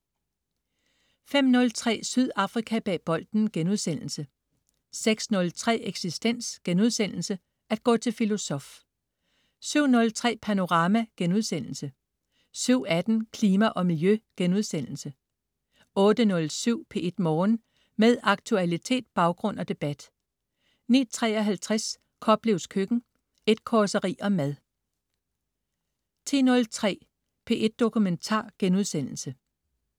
05.03 Sydafrika bag bolden* 06.03 Eksistens.* At gå til filosof 07.03 Panorama* 07.18 Klima og Miljø* 08.07 P1 Morgen. Med aktualitet, baggrund og debat 09.53 Koplevs Køkken. Et causeri om mad 10.03 P1 Dokumentar*